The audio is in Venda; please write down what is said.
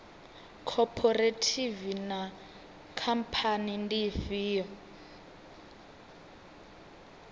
khophorethivi na khamphani ndi ifhio